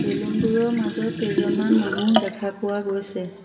Balloon বোৰৰ মাজত কেইজনমান মানুহ দেখা পোৱা গৈছে।